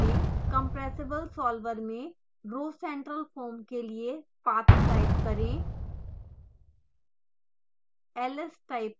terminal खोलें compressible solver में rhocentralfoam के लिए पाथ टाइप करें